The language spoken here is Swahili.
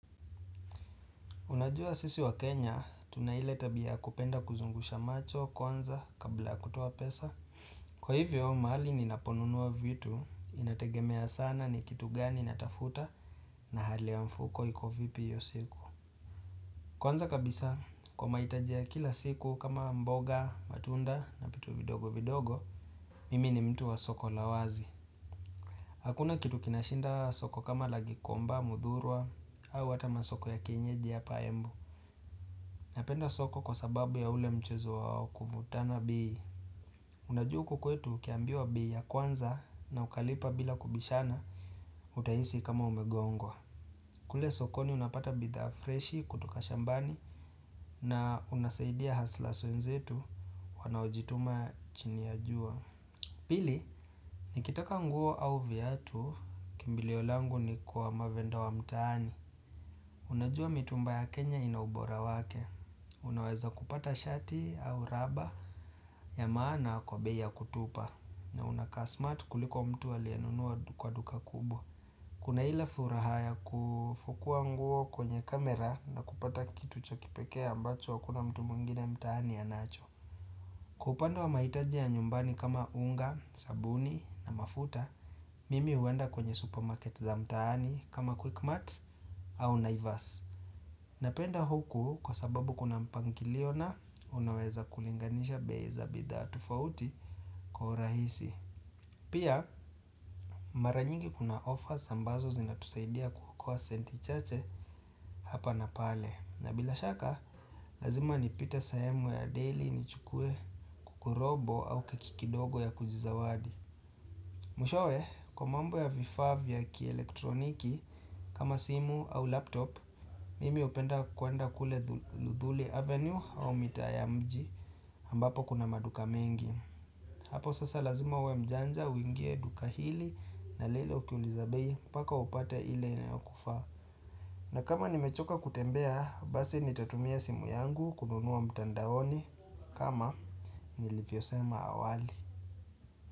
Unajua sisi wa Kenya, tunaile tabia kupenda kuzungusha macho, kwanza, kabla kutoa pesa. Kwa hivyo, mahali ninaponunuwa vitu, inategemea sana ni kitu gani natafuta na hali wa mfuko iko vipi hio siku. Kwanza kabisa, kwa mahitaji ya kila siku kama mboga, matunda na vitu vidogo vidogo, mimi ni mtu wa soko lawazi. Hakuna kitu kinashinda soko kama lagikomba, muthurwa, au hatama soko ya kenyeji ya hapa embu. Napenda soko kwa sababu ya ule mchezo wa kuvutana bei Unajua hukukwetu ukiambiwa bei ya kwanza na ukalipa bila kubishana utahisi kama umegongwa kule sokoni unapata bidhaa freshi kutoka shambani na unasaidia hustlers wenzetu wanaojituma chini ya jua Pili, nikitaka nguo au viatu kimbilio langu ni kwa mavenda wa mtaani Unajua mitumba ya Kenya inaubora wake, unaweza kupata shati au raba ya maana kwa bei ya kutupa uNakaa smart kuliko mtu aliyenunua kwa duka kubwa Kuna ile furaha ya kufukua nguo kwenye kamera na kupata kitu cha kipekee ambacho hakuna mtu mwingine mtaani anacho Kwa upande wa mahitaji ya nyumbani kama unga, sabuni na mafuta, mimi uwenda kwenye supermarket za mtaani kama quickmart au naivasi Napenda huku kwa sababu kuna mpangiliona unaweza kulinganisha bei za bidhaa tofauti kwa urahisi. Pia maranyingi kuna offers ambazo zinatusaidia kuokoa senti chache hapa na pale. Na bila shaka, lazima nipite sehemu ya daily ni chukue kukurobo au kekikidogo ya kujizawadi. Mwishowe, kwa mambo ya vifaa vya ki elektroniki, kama simu au laptop, mimi hupenda kuenda kule luthuli avenue au mitaa ya mji ambapo kuna maduka mengi. Hapo sasa lazima uwe mjanja, uingie duka hili na lile ukiuliza bei, mpaka upate ile inayokufaa. Na kama nimechoka kutembea, basi nitatumia simu yangu kununua mtandaoni kama nilivyo sema awali.